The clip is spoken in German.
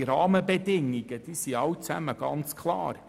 Diese Rahmenbedingungen sind klar.